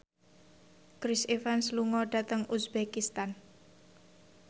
Chris Evans lunga dhateng uzbekistan